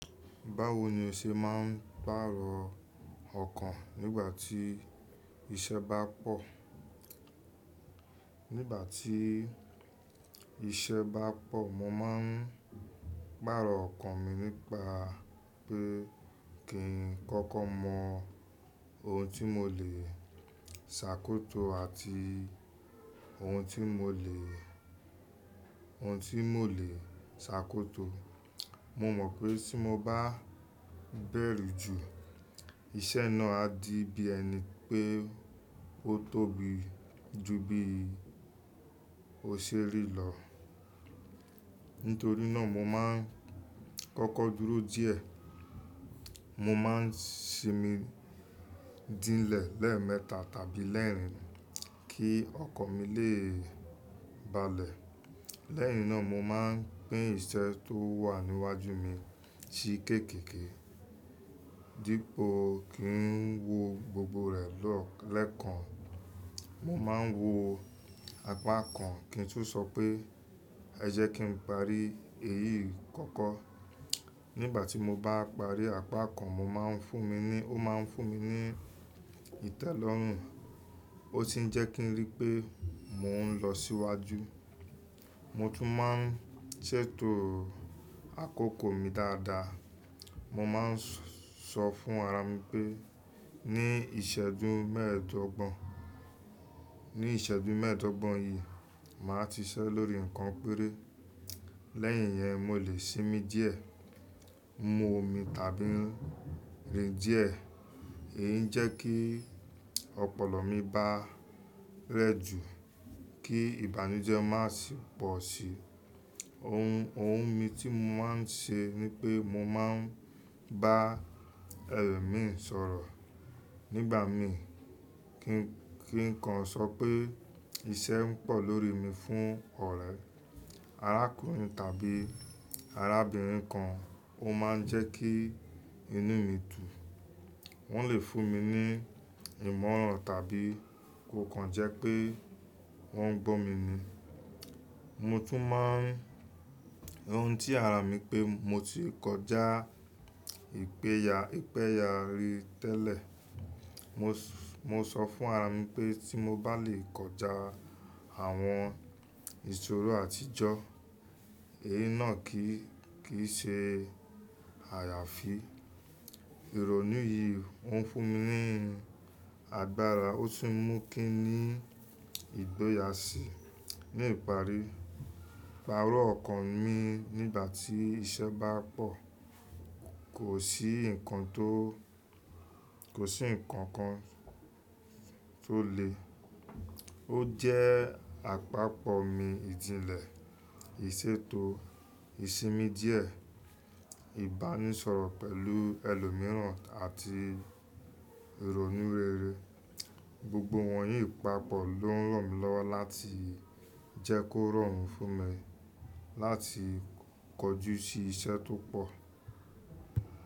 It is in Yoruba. Báwo ni o ṣe máa ń pàrọ̀ ọkàn nígbà tí iṣẹ́ bá pọ̀? Nígbà tí iṣẹ́ bá pọ̀, mo máa ń pàrọ̀ ọkàn mi nípa pé kí n kọ́kọ́ mọ ohun tí mo lè ṣàkóso àti ohun tí mo lè, ohun tí mo lè ṣàkóso. Mo mọ̀ pé tí mo bá bẹ̀rù jù, iṣẹ́ náà á di bí ẹni pé ó tóbi ju bí ó ṣe rí lọ. Nítorí náà mo máa ń kọ́kọ́ dúró díẹ̀. Mo máa ń sinmi dílẹ̀ lẹ́ẹ̀mẹta tàbí lẹ́ẹ̀rin kí ọkàn mi lè balẹ̀. Lẹ́yìn náà mo máa ń pín iṣẹ́ tó wà níwájú mi sí kéékèèké. Dípò kí n wo gbogbo rẹ̀ lẹ́ẹ̀kan, mo máa ń wo apá kan kí n tún sọ pé ẹ jẹ́ kí n parí èyí kọ́kọ́. Nígbà tí mo bá parí apá kan mo máa ń fún mi ní, ó máa ń fún mi ní ìtẹ́lọ́rùn ó sì ń jẹ́ kí n rí pé mò ń lọ síwájú. Mo tún máa ń ṣètò àkókò mi dáadáa. Mo máa ń sọ fún ara mi pé ní ìṣẹ́jú mẹ́ẹ̀dọ́gbọ̀n, ní ìṣẹ́jú mẹ́ẹ̀dọ́gbọ̀n yìí, màá ti ṣiṣẹ́ lórí nǹkan péré. Lẹ́yìn yẹn mo lè sinmi díẹ̀, mú omi tàbí rin díẹ̀. Èyí ń jẹ́ kí ọpọlọ mi bá rẹ́jù, kí ìbànújẹ́ má sì pọ̀ síi. Ohun, ohun mi tí mo máa ń ṣe ni pé mo máa ń bá ẹlòmíràn sọ̀rọ̀. Nígbà mí kí nǹkan sọ pé iṣẹ́ ń pọ̀ lórí mi fún ọ̀rẹ́ arákùnrin tàbí arábìnrin kan ó máa ń jẹ́ kí inú mi dùn. Wọ́n lè fún mi ní ìmọ̀ràn tàbí kó kan jẹ́ pé wọ́n gbọ́ mi ni. Mo tún máa ń sọ ohun tí ara mi pé mo ti kọjá ìpéya, ìpéya rí tẹ́lẹ̀. Mo, mo sọ fún ara mi pé tí mo bá lè kọjá àwọn ìṣòro àtijọ́, èyí náà kì í, kì í ṣe àyàfi. Ìrònú yìí ó ń fún mi ní agbára ó sì ń mú kí ni ìgbóyàsí. Ní ìparí, ìpààrọ̀ ọkàn mi nígbà tí iṣẹ́ bá pọ̀ kò sí nǹkan tó, kò sí nǹkan kan tó le. Ó jẹ́ àpapọ̀ mi ìdílẹ̀, ìṣètò, ìsinmi díẹ̀, ìbánisọ̀rọ̀ pẹ̀lú ẹlòmíràn àti ìrònú rere. Gbogbo wọ̀nyí papọ̀ ló ń ràn mí lọ́wọ́ láti jẹ́ kó rọrùn fún mi láti kọjú sí iṣẹ́ tó pọ̀.